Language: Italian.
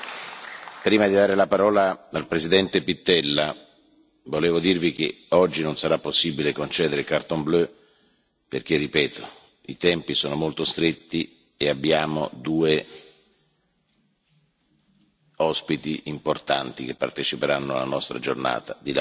Prima di dare la parola al presidente Pittella, volevo dirvi che oggi non sarà possibile concedere domande cartellino blu perché i tempi sono molto stretti e abbiamo due ospiti importanti che parteciperanno alla nostra giornata di lavoro.